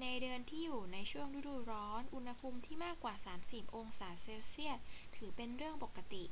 ในเดือนที่อยู่ในช่วงฤดูร้อน อุณหภูมิที่มากกว่า 30°c ถือเป็นเรื่องปกติ